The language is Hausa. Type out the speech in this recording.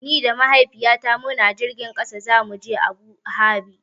Ni da Mahaifiyata muna jirgin ƙasa zamu je Abu Dhabi.